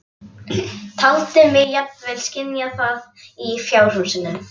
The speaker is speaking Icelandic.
Taldi mig jafnvel skynja það í fjárhúsinu.